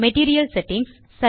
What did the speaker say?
material settings